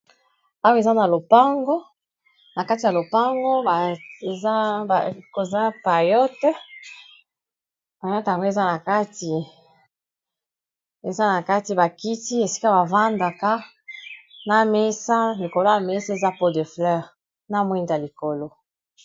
Awa eza na lopango, na kati ya lopango koza payote payote ango eza na kati bakiti esika bavandaka na mesa likolo ya mesa eza po de fleur na mwinda likolo.